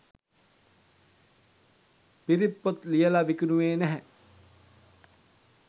පිරිත් පොත් ලියල විකුණුවේ නැහැ.